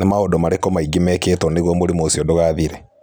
Nĩ maũndũ marĩkũ mangĩ mekĩtwo nĩguo mũrimũ ũcio ndũgathire?